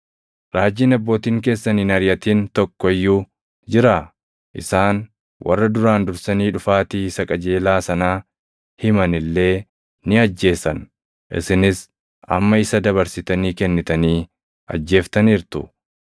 Raajiin abbootiin keessan hin ariʼatin tokko iyyuu jiraa? Isaan warra duraan dursanii dhufaatii isa qajeelaa sanaa himan illee ni ajjeesan; isinis amma isa dabarsitanii kennitanii ajjeeftaniirtu;